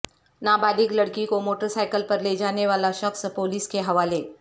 نابالغ لڑکی کو موٹر سائیکل پر لیجانے والا شخص پولیس کے حوالے